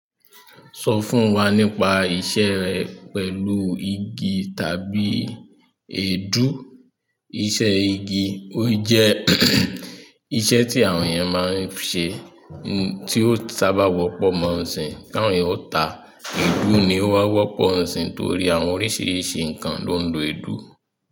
Sọ fún wa nípa iṣẹ́ rẹ pẹ̀lú igi tàbí èédú. Iṣẹ́ igi, ó jẹ́ iṣẹ́ ti àwọn eeyan maa n se ti o sábà wọ́pọ̀ mọ n sin ka àwọn èèyàn o ta, èédú ni ó máa ń wọ́pọ̀ ìsìn torí àwọn oríṣìíríṣìí ǹnkan ló ń lo èédú.